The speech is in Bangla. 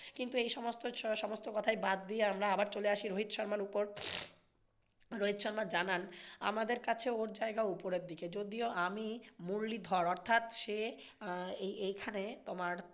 কিন্তু এইসমস্ত কথাই ব্যাড দিয়ে আমরা আবার চলে আসি রোহিত শর্মার ওপর। রোহিত শর্মা জানান আমাদের কাছে ওর জায়গা ওপরের দিকে যদিও আমি মুরলি ধর অর্থাৎ সে এখানে তোমার